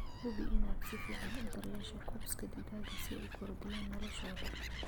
Hubi inaad si fiican u daryeesho coops digaaga si ay u kordhiyaan noloshooda.